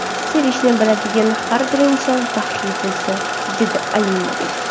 Sevishni biladigan har bir inson baxtli bo‘lsin”, dedi Alimov.